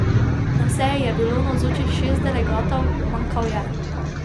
Na seji je bilo navzočih šest delegatov, manjkal je .